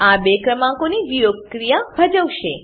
આ બે ક્રમાંકોની વિયોગક્રિયા ભજવશે